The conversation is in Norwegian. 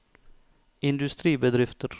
industribedrifter